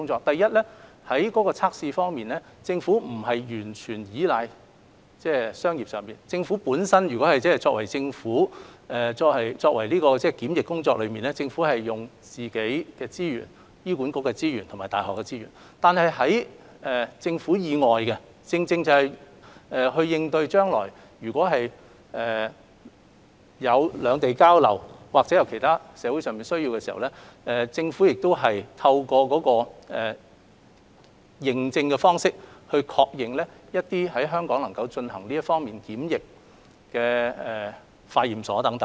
首先，在測試方面，政府並非完全依賴商業機構，政府本身在進行檢疫工作上，是利用本身醫管局或大學的資源來進行，而在政府以外的工作，正正是應對將來如果有兩地交流或有其他社會上的需要時，政府亦透過認證的方式來確認一些在香港能夠進行這方面檢疫的化驗所來進行等。